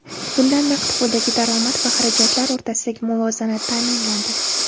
Bunda naqd puldagi daromad va xarajatlar o‘rtasidagi muvozanat ta’minlandi.